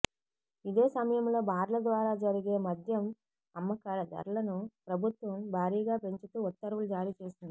ఇదే సమయంలో బార్ల ద్వారా జరిగే మద్యం అమ్మకాల ధరలను ప్రభుత్వం భారీగా పెంచుతూ ఉత్తర్వులు జారీ చేసింది